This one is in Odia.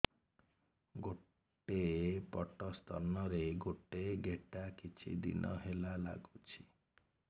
ଗୋଟେ ପଟ ସ୍ତନ ରେ ଗୋଟେ ଗେଟା କିଛି ଦିନ ହେଲା ଲାଗୁଛି